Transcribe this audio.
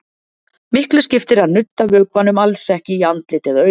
Miklu skiptir að nudda vökvanum ekki í andlit eða augu.